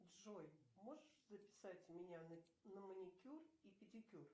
джой можешь записать меня на маникюр и педикюр